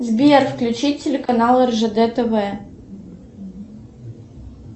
сбер включи телеканал ржд тв